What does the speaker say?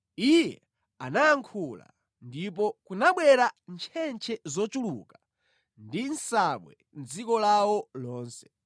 Iye anayankhula, ndipo kunabwera ntchentche zochuluka ndi nsabwe mʼdziko lawo lonse.